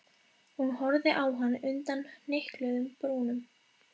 Hún horfði á hann undan hnykluðum brúnum.